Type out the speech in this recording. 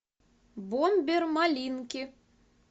бомбер малинки